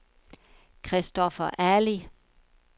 Christoffer Ali